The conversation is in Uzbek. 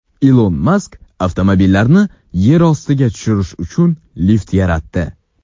Ilon Mask avtomobillarni yer ostiga tushirish uchun lift yaratdi .